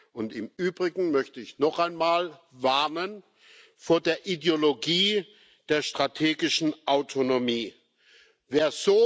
Und im Übrigen möchte ich noch einmal vor der Ideologie der strategischen Autonomie warnen.